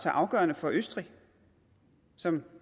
afgørende for østrig som